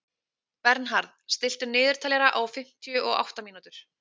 Bernharð, stilltu niðurteljara á fimmtíu og átta mínútur.